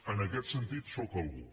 en aquest sentit sóc algú